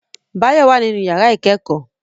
Báyọ̀ wà nínú yàrá ìkẹ́kọ̀ọ́